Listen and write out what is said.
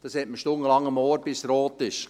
Das hat man stundenlang am Ohr, bis es rot ist.